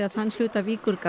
þann hluta